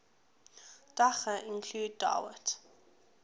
daga include dawit